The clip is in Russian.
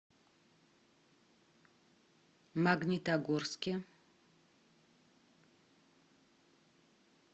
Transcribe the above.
магнитогорске